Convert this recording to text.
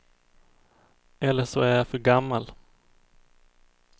Eller så är jag för gammal.